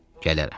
Gələrəm.